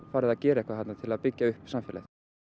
farið að gera eitthvað þarna til að byggja upp samfélagið